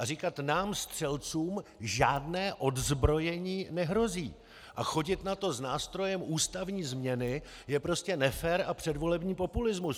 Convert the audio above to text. A říkat nám střelcům žádné odzbrojení nehrozí a chodit na to s nástrojem ústavní změny je prostě nefér a předvolební populismus.